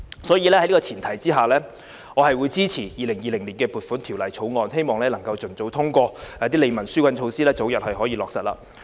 所以，在這個前提之下，我支持《2020年撥款條例草案》，希望能夠盡早通過，使利民紓困的措施可以早日落實。